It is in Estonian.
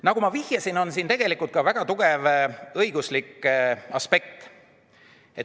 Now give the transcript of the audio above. Nagu ma vihjasin, on siin ka väga tugev õiguslik aspekt.